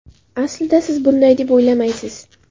Aslida siz bunday deb o‘ylamaysiz.